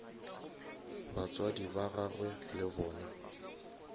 batswadi ba gagwe le bona